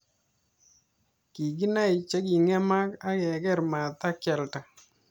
Kikinai che kingemak ak keker matke alda.